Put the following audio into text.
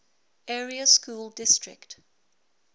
area school district